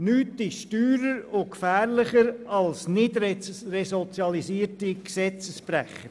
Nichts ist teurer und gefährlicher als die Nichtresozialisierung der Gesetzesbrecher.